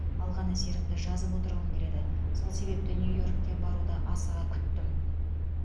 алған әсерімді жазып отырғым келеді сол себепті нью йоркке баруды асыға күттім